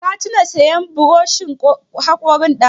Ka tuna sayan buroshin haƙorin dazu?